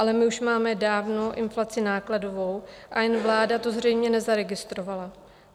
Ale my už máme dávnou inflaci nákladovou a jen vláda to zřejmě nezaregistrovala.